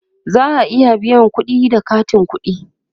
za'a iya biyan kudi da katin ƙuɗi